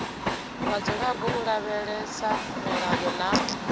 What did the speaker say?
vhadzulapo u lavhelesa milayo na